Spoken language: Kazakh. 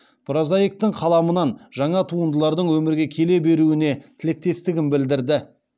прозаиктың қаламынан жаңа туындылардың өмірге келе беруіне тілектестігін білдірді